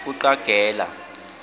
kucagela